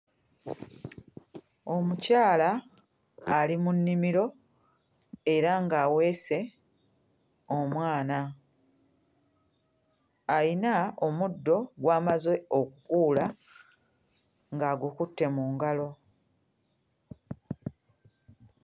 Omukyala ali mu nnimiro era ng'aweese omwana, ayina omuddo gw'amaze okkuula ng'agukutte mu ngalo.